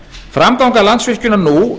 framganga landsvirkjunar nú